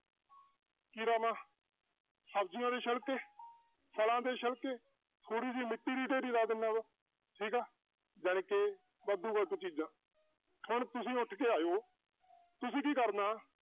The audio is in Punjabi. ਕੀ ਲਾਵਾਂ ਸਬਜ਼ੀਆਂ ਦੇ ਛਿਲਕੇ ਫਲਾਂ ਦੇ ਛਿਲਕੇ, ਥੋੜ੍ਹੀ ਜਿਹੀ ਮਿੱਟੀ ਦੀ ਢੇਰੀ ਲਾ ਦਿਨਾ ਵਾਂ ਠੀਕ ਆ ਜਾਣੀਕਿ ਵਾਧੂ ਚੀਜ਼ਾਂ ਹੁਣ ਤੁਸੀਂ ਉੱਠ ਕੇ ਆਇਓ ਤੁਸੀਂ ਕੀ ਕਰਨਾ